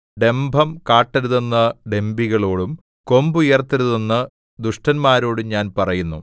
ഡംഭം കാട്ടരുതെന്ന് ഡംഭികളോടും കൊമ്പുയർത്തരുതെന്ന് ദുഷ്ടന്മാരോടും ഞാൻ പറയുന്നു